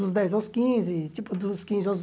Dos dez aos quinze, tipo dos quinze aos